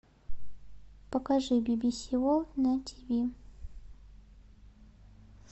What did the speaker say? покажи би би си ворлд на тв